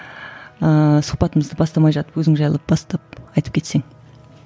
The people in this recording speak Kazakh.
ыыы сұхбатымызды бастамай жатып өзің жайлы бастап айтып кетсең